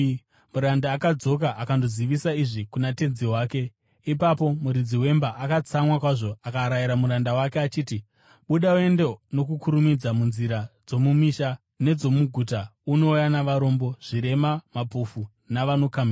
“Muranda akadzoka akandozivisa izvi kuna tenzi wake. Ipapo muridzi wemba akatsamwa kwazvo akarayira muranda wake achiti, ‘Buda uende nokukurumidza munzira dzomumisha nedzomuguta unouya navarombo, zvirema, mapofu navanokamhina.’